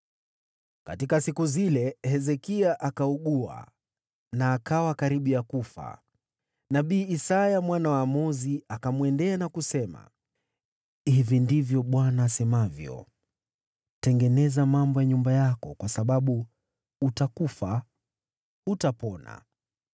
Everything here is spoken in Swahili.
Katika siku hizo, Hezekia akaugua, naye akawa karibu kufa. Nabii Isaya mwana wa Amozi akaenda kwake na kumwambia, “Hili ndilo asemalo Bwana : Tengeneza mambo ya nyumba yako, kwa sababu utakufa, hutapona.”